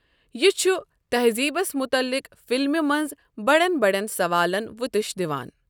یہِ چھُ تہذیبس مُطلِق فِلمہِ منٛز بڑٮ۪ن بڑٮ۪ن سوالن وٕتِش دِوان۔